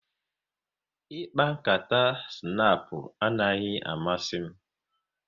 Ịkpa nkata snapu anaghị amasị m